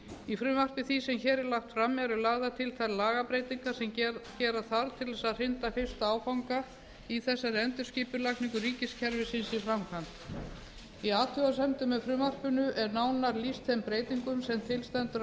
í frumvarpi því sem hér er lagt fram eru lagðar til þær lagabreytingar sem gera þarf til að hrinda fyrsta áfanga í þessari endurskipulagningu ríkiskerfisins í framkvæmd í athugasemdum með frumvarpinu er nánar lýst þeim breytingum sem til stendur